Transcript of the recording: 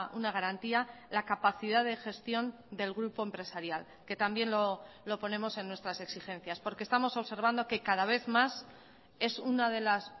una garantía la capacidad de gestión del grupo empresarial que también lo ponemos en nuestras exigencias porque estamos observando que cada vez más es una de las